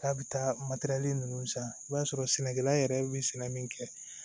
K'a bɛ taa matɛrɛli ninnu san i b'a sɔrɔ sɛnɛkɛla yɛrɛ bɛ sɛnɛ min kɛ